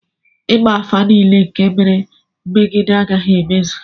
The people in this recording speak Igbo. ịgba afa nile nke mere megidem agaghi-emezu